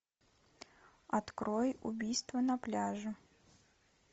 открой убийство на пляже